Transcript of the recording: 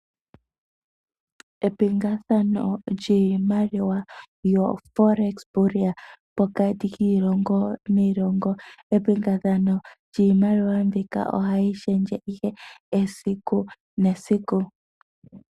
Epingathano lyiimaliwa yoForex Burea pokati kiilongo niilongo. Epingakanitho lyiimaliwa mbika ohayi shendje ihe esiku nesiku.